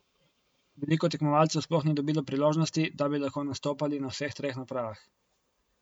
Veliko tekmovalcev sploh ni dobilo priložnosti, da bi lahko nastopali na vseh treh napravah.